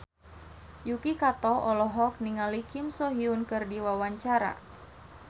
Yuki Kato olohok ningali Kim So Hyun keur diwawancara